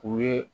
U ye